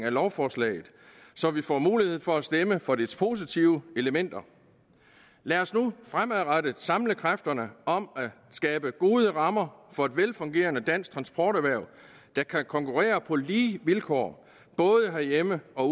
af lovforslaget så vi får mulighed for at stemme for dets positive elementer lad os nu fremadrettet samle kræfterne om at skabe gode rammer for et velfungerende dansk transporterhverv der kan konkurrere på lige vilkår både herhjemme og